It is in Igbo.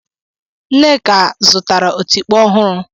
Nneka zụtara otikpo ọhụrụ.